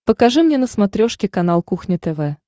покажи мне на смотрешке канал кухня тв